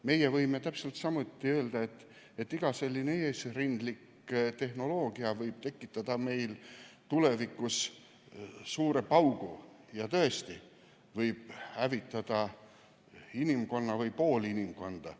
Meie võime täpselt samuti öelda, et iga selline eesrindlik tehnoloogia võib tulevikus tekitada suure paugu ja see võib tõesti hävitada terve inimkonna või pool inimkonda.